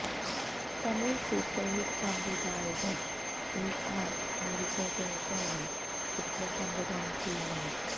Tamil super hit സംവിധായകന് AR മുരുകദോസാണ് ചിത്രം സംവിധാനം ചെയ്യുന്നത്